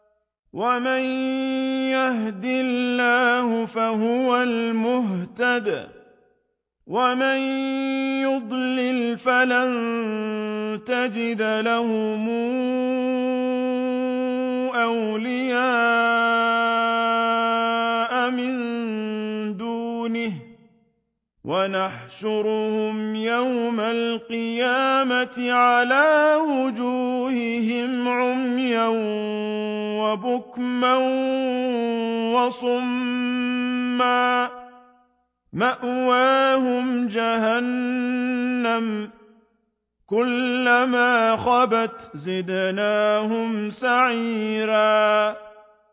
وَمَن يَهْدِ اللَّهُ فَهُوَ الْمُهْتَدِ ۖ وَمَن يُضْلِلْ فَلَن تَجِدَ لَهُمْ أَوْلِيَاءَ مِن دُونِهِ ۖ وَنَحْشُرُهُمْ يَوْمَ الْقِيَامَةِ عَلَىٰ وُجُوهِهِمْ عُمْيًا وَبُكْمًا وَصُمًّا ۖ مَّأْوَاهُمْ جَهَنَّمُ ۖ كُلَّمَا خَبَتْ زِدْنَاهُمْ سَعِيرًا